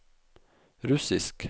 russisk